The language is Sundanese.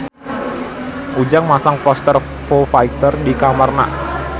Ujang masang poster Foo Fighter di kamarna